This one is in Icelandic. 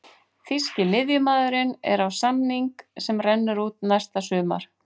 Þýski miðjumaðurinn er á samning sem rennur út næsta sumar.